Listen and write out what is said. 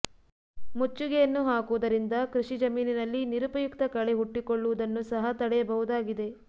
ಮುಚ್ಚಿಗೆಯನ್ನು ಹಾಕುವುದರಿಂದ ಕೃಷಿ ಜಮೀನಿನಲ್ಲಿ ನಿರುಪಯುಕ್ತ ಕಳೆ ಹುಟ್ಟಿಕೊಳ್ಳುವುದನ್ನು ಸಹ ತಡೆಯಬಹುದಾಗಿದೆ